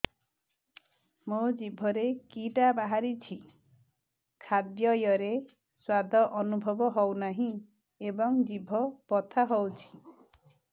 ମୋ ଜିଭରେ କିଟା ବାହାରିଛି ଖାଦ୍ଯୟରେ ସ୍ୱାଦ ଅନୁଭବ ହଉନାହିଁ ଏବଂ ଜିଭ ବଥା ହଉଛି